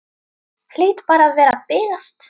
Hlýt bara að vera að bilast.